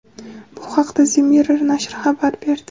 Bu haqda The Mirror nashri xabar berdi .